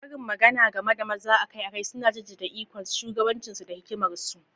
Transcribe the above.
Karin magana game da maza akai-akai suna jaddada ikonsu, shugabancinsu, da hikimarsu.